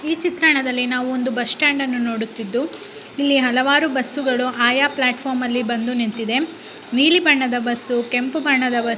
ಈ ಚಿತ್ರಣದಲ್ಲಿ ನಾವು ಒಂದು ಬಸ್ಟ್ಯಾಂಡ್ ನೋಡುತ್ತಿದ್ದುಇಲ್ಲಿ ಹಲವಾರು ಬಸ್ಸುಗಳು ಆಯಾ ಪ್ಲಾಟ್ಫಾರ್ಮಿನಲ್ಲಿ ಬಂದು ನಿಂತಿದೆ ನೀಲಿ ಬಣ್ಣದು ಬಸ್ಸು ಕೆಂಪು ಬಣ್ಣದ ಬಸ್ಸು.